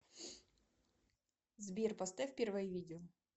сбер поставь первое видео